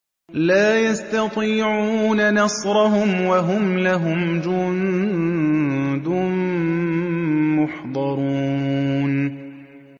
لَا يَسْتَطِيعُونَ نَصْرَهُمْ وَهُمْ لَهُمْ جُندٌ مُّحْضَرُونَ